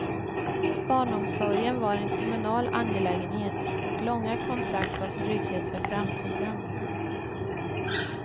Barnomsorgen var en kommunal angelägenhet och långa kontrakt gav trygghet för framtiden.